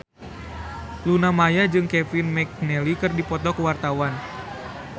Luna Maya jeung Kevin McNally keur dipoto ku wartawan